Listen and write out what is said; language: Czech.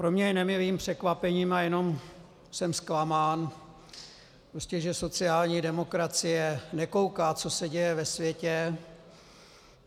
Pro mě je nemilým překvapením a jenom jsem zklamán, že sociální demokracie nekouká, co se děje ve světě.